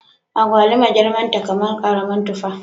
Agwaluma girman ta kaman karamar tufa